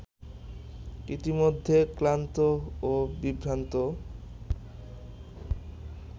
ইতিমধ্যে ক্লান্ত ও বিভ্রান্ত